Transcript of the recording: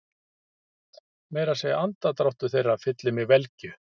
Meira að segja andardráttur þeirra fyllir mig velgju.